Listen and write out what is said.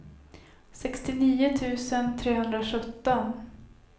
sextionio tusen trehundrasjutton